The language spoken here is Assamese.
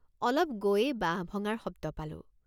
অলপ গৈয়েই বাঁহ ভঙাৰ শব্দ পালোঁ।